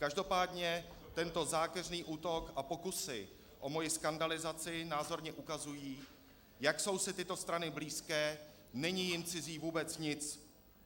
Každopádně tento zákeřný útok a pokusy o moji skandalizaci názorně ukazují, jak jsou si tyto strany blízké, není jim cizí vůbec nic.